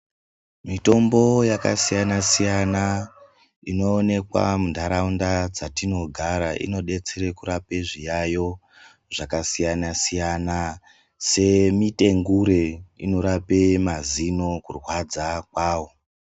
Mitombo yakasiyana siyana inoonekwa muntaraunda dzatinogara inodetsera kurape zviyayo zvakasiyana siyana semitengure inorape mazino kurwadza kwawo.